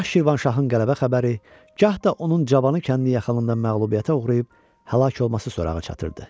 Gah Şirvanşahın qələbə xəbəri, gah da onun cavanı kəndin yaxınlığında məğlubiyyətə uğrayıb həlak olması sorağı çatırdı.